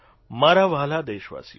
મારા વ્હાલા દેશવાસીઓ